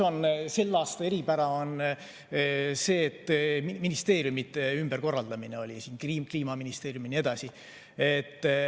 Selle aasta eripära on ka see, et ministeeriumide ümberkorraldamine oli, loodi Kliimaministeerium ja nii edasi.